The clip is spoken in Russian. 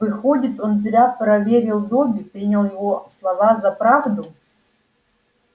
выходит он зря проверил добби принял его слова за правду